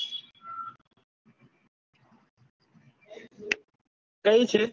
કઈ છે?